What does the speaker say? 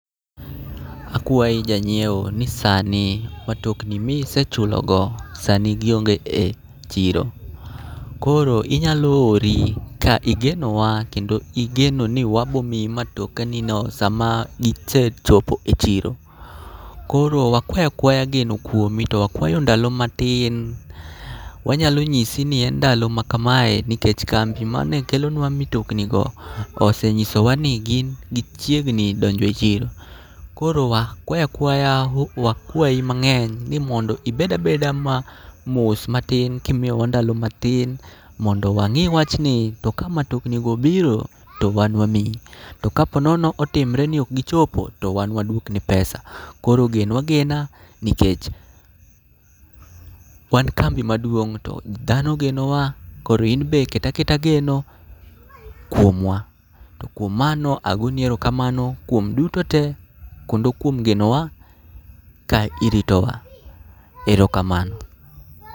Akwai janyiewo ni sani matokni misechulogo sani gionge e chiro. Koro inyalo hori ka igeno wa kendo igeno ni wabomiyi matoka nini sama gisechopo e chiro. Koro wakwaya kwaya geno kuomi to wakwayo ndalo matin. Wanyalo nyisi ni en ndalo ma kamae nikech kambi mane kelonwa mitoknigo osenyisowa ni gin gichiegni donjo e chiro. Koro wakwaya kwaya, wakwayi mang'eny ni mondo ibed abeda ma mos matin kimiyowa ndalo matin mondo wang'i wachni to ka matokni go obiro to wan wamiyi. To ka po nono otimre ni ok gichopo to wan waduokni pesa. Koro genwa agena nikech, wan kambi maduong' to dhano ogenowa. Koro inbe ket aketa geno kuomwa. To kuom mano agoni erokamano kuom duto te kendo kuom genowa ka iritowa. Erokamano.